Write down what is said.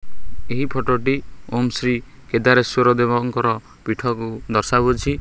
ଏହି ଫଟ ଟି ଓମ୍ ଶ୍ରୀ କେଦାରେଶ୍ୱର ଦେବଙ୍କର ପିଠ କୁ ଦର୍ଶାଉ ଅଛି।